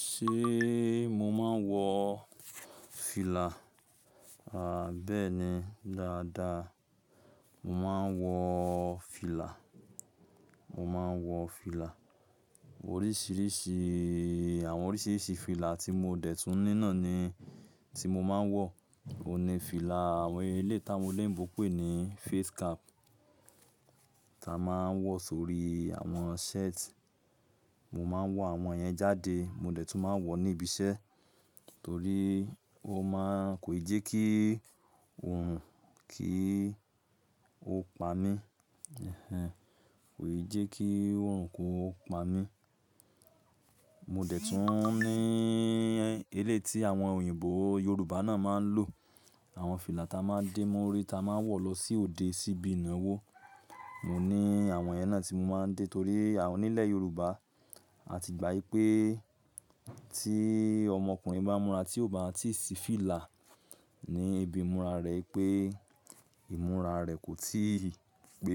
Ṣé mo máa ń wọ fìlà? Àbẹ́ẹ́ni dáadáa mo máa ń wọ fìlà, mo máa ń wọ fìlà. Oríṣiríṣi àwọn oríṣiríṣi fìlà tí mo dẹ̀tún ní nàni tí mo máa ń wọ. O ní fìlà àwọn eléyìí tí àwọn olóyìnbó ń pé ní face cap ta máa ń wọ sórí àwọn shirt. Mo máa ń wọ àwọn yẹn jáde, mo dẹ̀tún máa ń wọ ní ibi iṣẹ́ torí ó máa ń, kò ì jẹ́ kí òòrùn kí ó pa mí. Kò ì jẹ́ kí òòrùn kó pa mí. Mo dẹ̀ tún ní eléyì tí àwọn òyìnbó, Yorùbá náà máa ń lò, àwọn fìlà ta máa ń dè móri ta máa ń wọ̀ lọ sí òde síbi ìnáwó. Mo ní àwọn yẹn náà tí mo máa ń dè torí onílẹ̀ Yorùbá a ti gbà í pé tí ọmọkùnrin bá múra tí ò bá tíì sí fìlà ní ibi ìmúra rẹ̀ pé ìmúra rẹ̀ kò tí ì pé,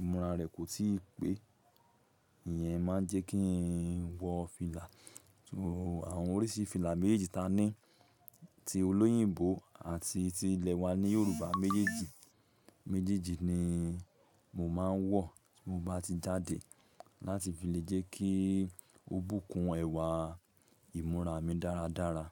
ìmúra rẹ̀ kò tí ì pé. Ìyẹn máa ń jẹ́ kí n wọ fìlà. Àwọn oríṣi fìlà méjèèjì ta ní ti olóyìnbó àti ti ilẹ̀ wa ní Yorùbá méjèèjì, méjèèjì ni mo máa ń wọ tí mo bá ti jáde láti fi lè jẹ́ kí ó bùkún ẹwà ìmúra mi dáradára.